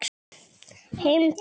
Heim til